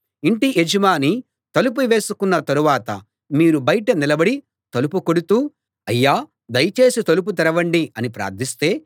ఇంటి యజమాని తలుపు వేసుకున్న తరువాత మీరు బయట నిలబడి తలుపు కొడుతూ అయ్యా దయచేసి తలుపు తెరవండి అని ప్రార్థిస్తే